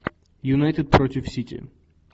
юнайтед против сити